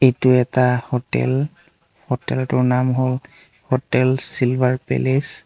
এইটো এটা hotel hotel টোৰ নাম হ'ল হোটেল চিলভাৰ পেলেচ ।